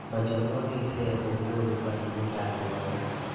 Machomwok kisirek onyoru anyinydoab ruondo.